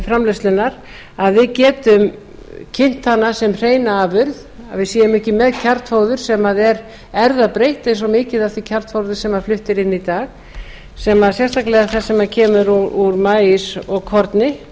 framleiðslunnar að við getum kynnt hana sem hreina afurð að við séum ekki með kjarnfóður sem er erfðabreytt eins og mikið af því kjarnfóðri sem flutt er inn í dag sérstaklega það sem kemur úr maís og korni